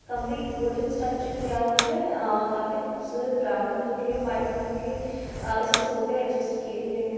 complete wooden stretcher किया हुआ हैं काफी खूबसूरत ब्राउन कलर के और वाइट कलर के इसमें सोफा एडजेस्ट किये--